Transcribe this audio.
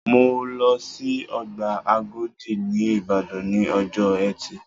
Mọ lọ sí ọgbà Àgòdì ní Ìbàdàn ní ọjọ́ ẹtì